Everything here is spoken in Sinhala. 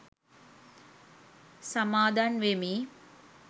සමාදන් වෙමි.